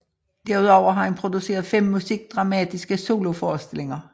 Derudover har han produceret 5 musikdramatiske soloforestillinger